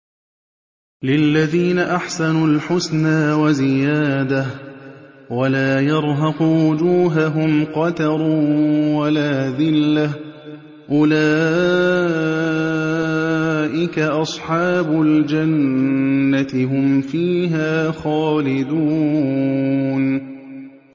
۞ لِّلَّذِينَ أَحْسَنُوا الْحُسْنَىٰ وَزِيَادَةٌ ۖ وَلَا يَرْهَقُ وُجُوهَهُمْ قَتَرٌ وَلَا ذِلَّةٌ ۚ أُولَٰئِكَ أَصْحَابُ الْجَنَّةِ ۖ هُمْ فِيهَا خَالِدُونَ